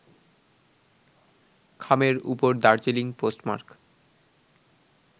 খামের উপর Darjeeling post mark